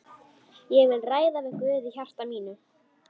Ég vil ræða við Guð í hjarta mínu.